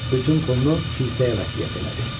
Bütün pulunu kilsəyə vəsiyyət elədi.